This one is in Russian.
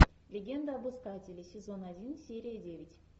легенда об искателе сезон один серия девять